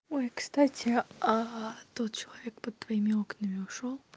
ой кстати а тот человек под твоими окнами ушёл